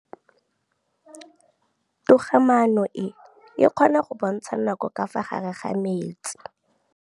Toga-maanô e, e kgona go bontsha nakô ka fa gare ga metsi.